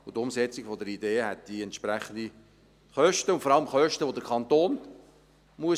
Die Umsetzung der Idee führte zu entsprechenden Kosten, und vor allem zu Kosten, die der Kanton tragen muss.